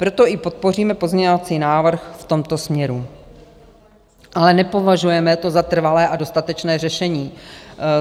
Proto i podpoříme pozměňovací návrh v tomto směru, ale nepovažujeme to za trvalé a dostatečné řešení.